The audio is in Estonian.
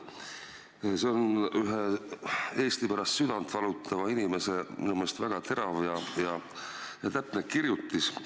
See on ühe Eesti pärast südant valutava inimese minu meelest väga terav ja täpne kirjutis.